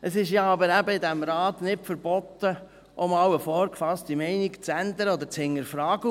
Es ist ja aber eben in diesem Rat nicht verboten, auch einmal eine vorgefasste Meinung zu ändern oder zu hinterfragen.